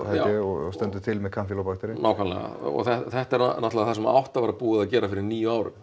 ég og stendur til með kanfílóbakterinn já nákvæmlega og þetta er náttúrulega það sem átti að vera búið að gera fyrir níu árum